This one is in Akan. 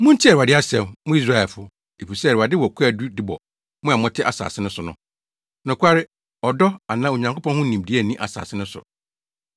Muntie Awurade asɛm, mo Israelfo efisɛ Awurade wɔ kwaadu de bɔ mo a mote asase no so: “Nokware, ɔdɔ, anaa Onyankopɔn ho nimdeɛ nni asase no so.